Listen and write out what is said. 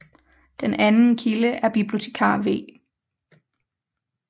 Den anden kilde er bibliotekar V